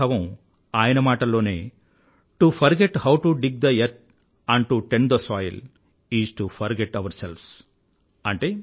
ఇదే భావం ఆయన మాటల్లోనే to forget how to dig the earth and to tend the soil is to forget ourselves